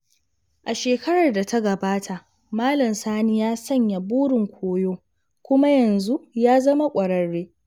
A shekarar da ta gabata, Malam Sani ya sanya burin koyo, kuma yanzu ya zama ƙwararre.